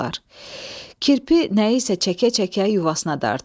Kirpi nəyisə çəkə-çəkə yuvasına dartırdı.